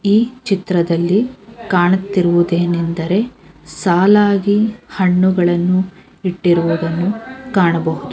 ಈ ಚಿತ್ರದಲ್ಲಿ ಕಾಣುತ್ತಿರುವುದೇನೆಂದರೆ ಸಾಲಾಗಿ ಹಣ್ಣುಗಳನ್ನು ಇಟ್ಟಿರುವುದನ್ನು ಕಾಣಬಹುದು.